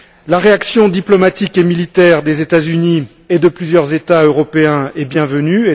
La réaction diplomatique et militaire des États Unis et de plusieurs États européens est bienvenue.